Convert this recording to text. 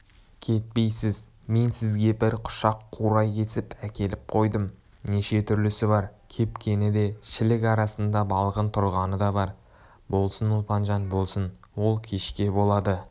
кетпейсіз мен сізге бір құшақ қурай кесіп әкеліп қойдым неше түрлісі бар кепкені де шілік арасында балғын тұрғаны да бар болсын ұлпанжан болсын ол кешке болады